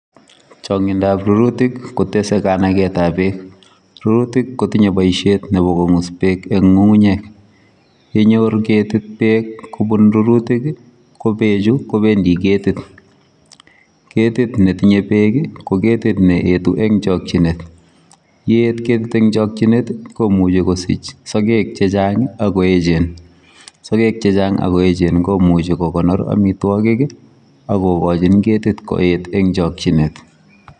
Changngindaap rurutiik kotesetai kanaget ab beek ,rurutiik kotinyei boisiet nebo kongus beek eng ngungunyeek ye nyoor ketit beek kobuun rurutiik ii ko beek chuu kobendii ketit ,ketit ne tinyei beek ii ko ketit ne etu eng chakyineet ,ye eet ketit eng chakyineet komuchei kosiich sageg che chaang ii ako eecheen komuchi ko konor amitwagiik ii ago gachiin ketit koyeet eng chakyineet.